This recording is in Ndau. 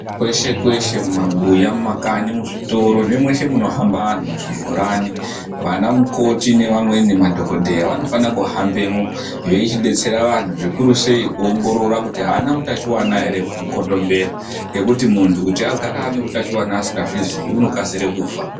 Kweshe kweshe mumabuya ,mumakanyi ,muzvitoro nemweshe munohamba antu muzvibhorani .Vanamukoti neamweni madhokodheya vanofane kuhambemwo veichidetsera antu zvikuru sei kuongorora kuona kuti aana utachiwana here hwemukondombera . Ngekuti muntu kuti agare anehutachiwana asingazviziyi unokasire kufa.